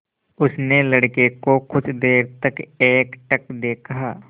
उसने लड़के को कुछ देर तक एकटक देखा